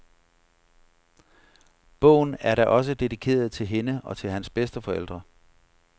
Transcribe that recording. Bogen er da også dediceret til hende og til hans bedsteforældre.